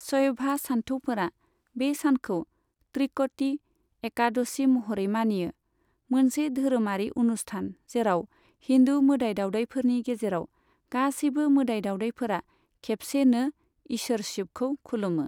शयभा सान्थौफोरा बे सानखौ त्रिक'टि एकादसि महरै मानियो, मोनसे धोरोमारि उनुस्थान जेराव हिन्दु मोदाइ दावदायफोरनि गेजेराव गासैबो मोदाय दावदायफोरा खेबसेनो इसोर शिबखौ खुलुमो।